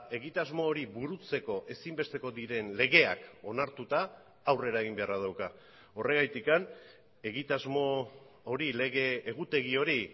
egitasmo hori burutzeko ezinbesteko diren legeak onartuta aurrera egin beharra dauka horregatik egitasmo hori lege egutegi hori